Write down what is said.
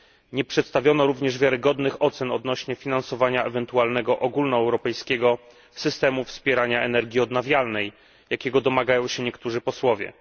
Nie przedstawiono również wiarygodnych ocen odnośnie do finansowania ewentualnego ogólnoeuropejskiego systemu wspierania energii odnawialnej, jakiego domagają się niektórzy posłowie.